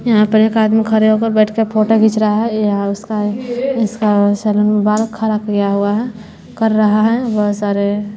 यहां पर एक आदमी खड़े होकर बैठ कर फोटो खींच रहा है यहां उसका उसका सैलून में बाहर खड़ा किया हुआ है कर रहा है बहुत सारे--